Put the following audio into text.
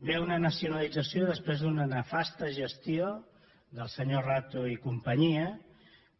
ve una nacionalització després d’una nefasta gestió del senyor rato i companyia